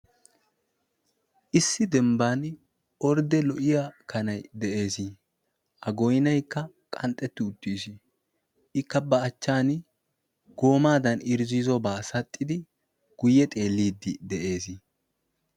Issi dembban ordde lo'iya kanai de'ees. A goynaykka qanxxetti uttiis. Ikka ba achchan goomaadan irzziizobaa saxxidi guyye xeelliiddi de'ees.